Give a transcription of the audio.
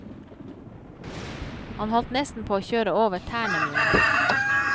Han holdt nesten på å kjøre over tærne mine.